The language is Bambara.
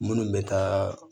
Minnu bɛ taa